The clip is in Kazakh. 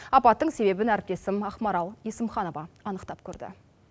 апаттың себебін әріптесім ақмарал есімханова анықтап көрді